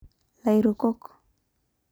lairukok